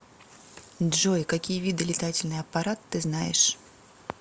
джой какие виды летательный аппарат ты знаешь